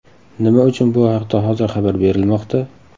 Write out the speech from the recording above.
Nima uchun bu haqda hozir xabar berilmoqda?